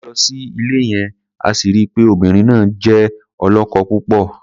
A lọ sí ilé yẹn, a sì ri pé obìnrin náà jẹ́ ọlọ́kọ-púpọ̀.